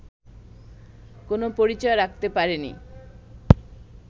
কোনো পরিচয় রাখতে পারেনি